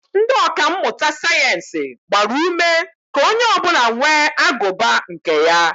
Ndị ọka mmụta sayeensị gbara ume ka onye ọbụla nwee agụba nke ya